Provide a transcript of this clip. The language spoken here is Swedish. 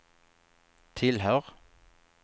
tillhör